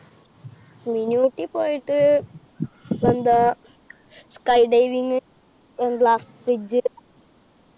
mini Ooty പോയിട്ട്~ എന്താ sky diving ങ്ങ് glass bridge